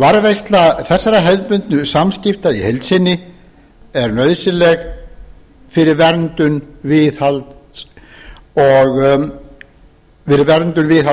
varðveisla þessara hefðbundnu samskipta í heild sinni er nauðsynleg fyrir verndun viðhald